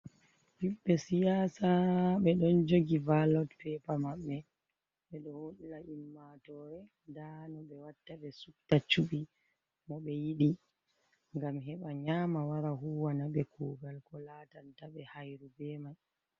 Hibɓe siyasa be ɗon jogi vailot pepa maɓbe. Be ɗo holla immatore ɗa no be watta be sutta cubi mo be yidi l. Gam heɓa nyama wara huwana be kugal ko latantabe hairu be mai.